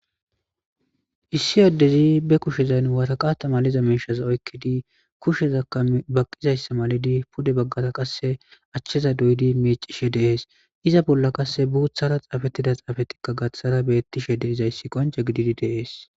Issi addezi be kushezan wataqaata maliza meeshaza oykkidi kushezakka baqqizayssa malidi pude baggata qasse achcheza doyidi meecishe deees iza bolla qasse buuthara xaafettida xaafatikka gaththara bettishe de izayssi qonca gididi deees.